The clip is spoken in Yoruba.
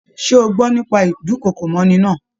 Ṣe o gbọ́ nípa ídùnkokò mọ́'ni náà?